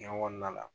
Cɛn kɔnɔna la